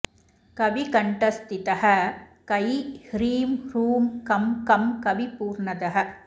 कविकण्ठस्थितः कै ह्रीं ह्रूं कं कं कवि पूर्णदः